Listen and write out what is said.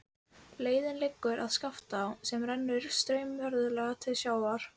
Leiðin liggur að Skaftá sem rennur straumhörð til sjávar.